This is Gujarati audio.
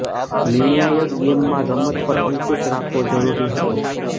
નિર્ણાયક ગેમમાં રમત પર અંકુશ રાખવો જરૂરી હતો